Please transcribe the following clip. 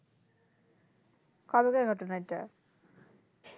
কতদিনের ঘটনা এইটা